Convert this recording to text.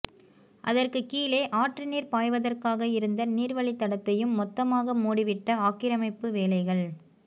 அதற்குக் கீழே ஆற்று நீர் பாய்வதற்காக இருந்த நீர்வழித்தடத்தையும் மொத்தமாக மூடிவிட்ட ஆக்கிரமிப்பு வேலைகள்